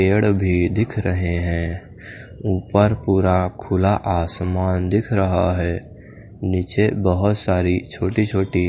पेड़ भी दिख रहे हैं ऊपर पूरा खुला आसमान दिख रहा है नीचे बहुत सारी छोटी छोटी --